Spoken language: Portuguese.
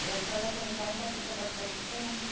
E a senhora, quando vai, a senhora fica bastante tempo?